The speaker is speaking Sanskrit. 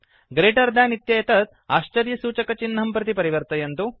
ग्रेटर् देन् इत्येतत् आश्चर्यसूचकचिह्नं प्रति परिवर्तयन्तु